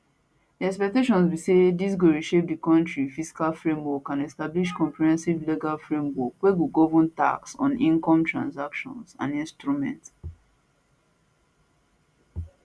di expectation be say dis go reshape di kontri fiscal framework and establish comprehensive legal framework wey go govern tax on incomes transactions and instruments